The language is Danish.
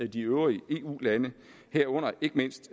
de øvrige eu lande herunder ikke mindst